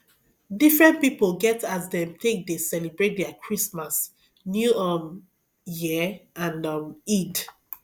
different pipo get as dem take de celebrate their christmas new um year and um eid